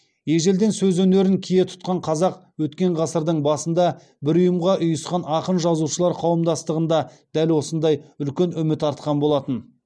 ежелден сөз өнерін кие тұтқан қазақ өткен ғасырдың басында бір ұйымға ұйысқан ақын жазушылар қауымдастығында дәл осындай үлкен үміт артқан болатын